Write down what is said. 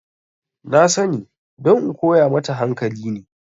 Na sani don in koya mata hankali ne